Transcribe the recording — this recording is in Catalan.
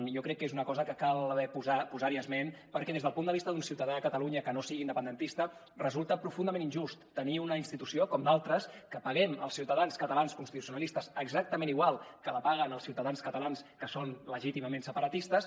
jo crec que és una cosa que cal posar hi esment perquè des del punt de vista d’un ciutadà a catalunya que no sigui independentista resulta profundament injust tenir una institució com d’altres que paguem els ciutadans catalans constitucionalistes exactament igual que la paguen els ciutadans catalans que són legítimament separatistes